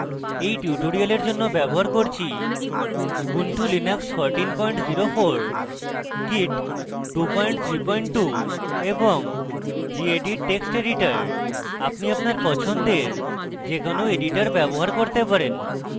এই tutorial জন্য আমি ব্যবহার করছি